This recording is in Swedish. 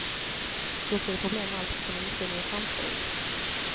Dock blev det problem allteftersom inspelningen framskred.